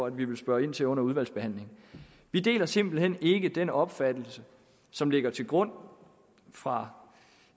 at vi vil spørge ind til under udvalgsbehandlingen vi deler simpelt hen ikke den opfattelse som ligger til grund fra